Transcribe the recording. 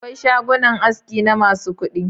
Akwai shagunan aski na masu kuɗi.